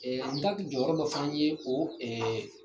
n ta jɔyɔrɔ dɔ fana ye o